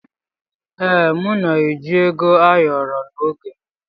Ee, m na-eji Ego ayoro n'oge m.